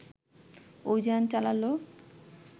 অভিযান চালালো